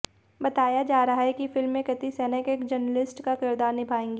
बताया जा रहा है कि फिल्म में कृति सैनन एक जर्नलिस्ट का किरदार निभाएंगी